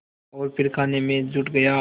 और फिर खाने में जुट गया